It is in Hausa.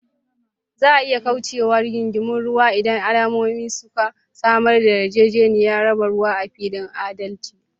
Za a iya kauce wa rigingimun ruwa idan al’ummomi suka samar da yarjejeniyoyin raba ruwa a fili da adalci.